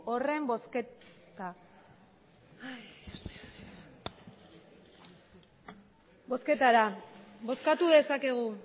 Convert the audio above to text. horren bozketa bozkatu dezakegu